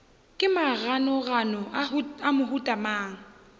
ke maganogano a mohuta mang